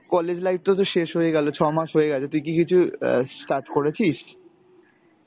college life তো তোর শেষ হয়ে গেল ছ মাস হয়ে গেছে, তুই কি কিছু অ্যাঁ start করেছিস?